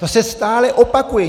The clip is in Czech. To se stále opakuje.